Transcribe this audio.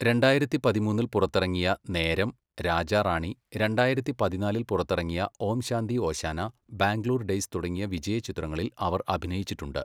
രണ്ടായിരത്തി പതിമൂന്നിൽ പുറത്തിറങ്ങിയ നേരം, രാജാ റാണി, രണ്ടായിരത്തി പതിനാലിൽ പുറത്തിറങ്ങിയ ഓം ശാന്തി ഓശാന, ബാംഗ്ലൂർ ഡേയ്സ് തുടങ്ങിയ വിജയചിത്രങ്ങളിൽ അവർ അഭിനയിച്ചിട്ടുണ്ട്.